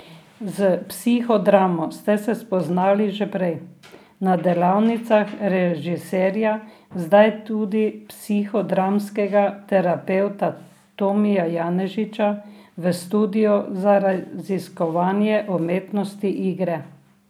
S psihodramo ste se spoznali že prej, na delavnicah režiserja, zdaj tudi psihodramskega terapevta Tomija Janežiča, v Studiu za raziskovanje umetnosti igre.